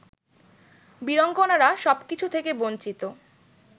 বীরাঙ্গনারা সবকিছু থেকে বঞ্চিত